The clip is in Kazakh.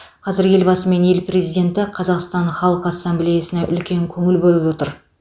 қазір елбасы мен ел президенті қазақстан халқы ассамблеясына үлкен көңіл бөліп отыр